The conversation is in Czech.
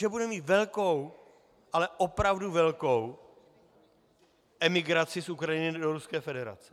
Že budeme mít velkou, ale opravdu velkou emigraci z Ukrajiny do Ruské federace.